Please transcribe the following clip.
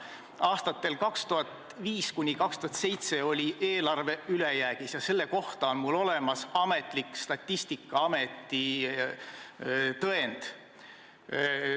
Aastatel 2005–2007 oli eelarve ülejäägis ja selle kohta on mul olemas ametlik Statistikaameti dokument.